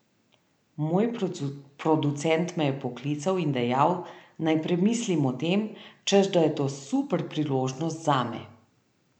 Moj producent me je poklical in dejal, naj premislim o tem, češ da je to super priložnost zame.